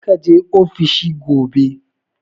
Kar ka je ofishi gobe!